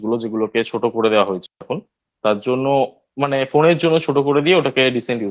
যেগুলোকে ছোট করে দেওয়া হয়েছে এখন তার জন্য মানে Phone এর জন্য ছোট করে দিয়ে ওটাকে Recent